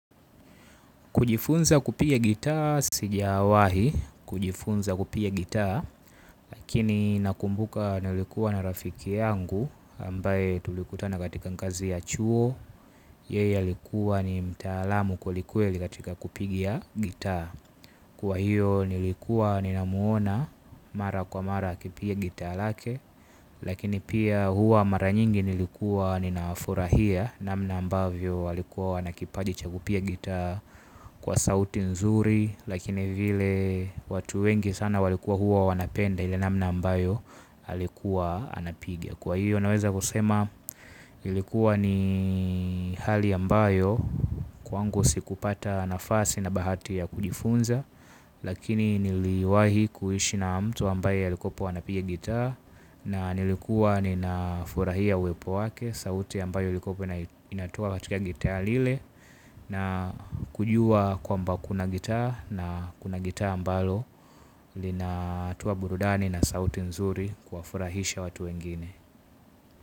Kujifunza kupiga gitaa sijawahi, kujifunza kupiga gitaa, lakini nakumbuka nilikuwa na rafiki yangu ambaye tulikutana katika ngazi ya chuo, yeye alikuwa ni mtaalamu kweli kweli katika kupiga gitaa. Kwa hiyo nilikuwa ninamuona mara kwa mara akipiga gitaa lake, lakini pia huwa mara nyingi nilikuwa ninafurahia namna ambavyo walikuwa wanakipaji cha kupiga gitaa kwa sauti nzuri lakini vile watu wengi sana walikua hua wanapenda ile namna ambayo alikuwa anapiga, kwa hiyo naweza kusema ilikuwa ni hali ambayo kwangu sikupata nafasi na bahati ya kujifunza lakini niliwai kuishi na mtu ambaye alikua pia anapiga gitaa na nilikuwa ninafurahia uepo wake sauti ambayo ilikua inatoka katika gitaa lile na kujua kwamba kuna gitaa na kuna gitaa ambalo linatoa burudani na sauti nzuri kuwafurahisha watu wengine.